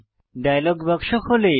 dialogue বাক্স খোলে